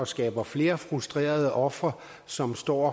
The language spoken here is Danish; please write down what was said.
skaber flere frustrerede ofre som står